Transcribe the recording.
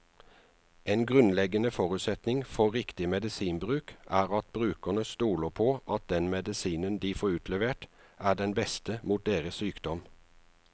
En grunnleggende forutsetning for riktig medisinbruk er at brukerne stoler på at den medisinen de får utlevert, er den beste mot deres sykdom.